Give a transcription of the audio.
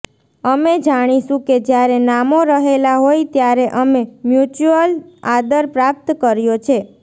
અમે જાણીશું કે જ્યારે નામો રહેલા હોય ત્યારે અમે મ્યુચ્યુઅલ આદર પ્રાપ્ત કર્યો છે